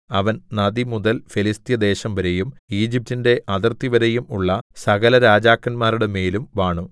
അവൻ നദിമുതൽ ഫെലിസ്ത്യദേശംവരെയും ഈജിപ്റ്റിന്റെ അതിർത്തിവരെയും ഉള്ള സകലരാജാക്കന്മാരുടെമേലും വാണു